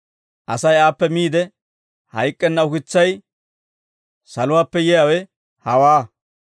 Asay aappe miide hayk'k'enna ukitsay saluwaappe yiyaawe hawaa.